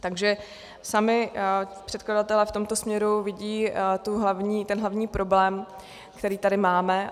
Takže sami předkladatelé v tomto směru vidí ten hlavní problém, který tady máme.